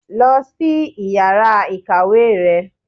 lọ si ìyára ikáwe rẹ!